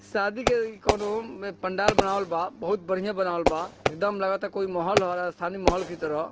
शादी ए कोनो पंडाल बनावल बा बोहोत बढ़िया बनावल बा एकदम लगाता कोई महोल हो रहा हे शादी महोल की तरह।